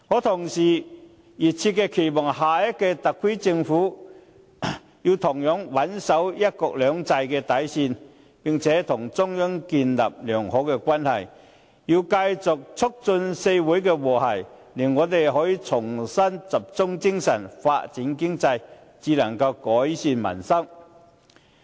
同時，我熱切期望下屆特區政府同樣穩守"一國兩制"的底線，並且與中央建立良好關係，繼續促進社會和諧，令我們可以重新集中精神，發展經濟，然後才能改善民生。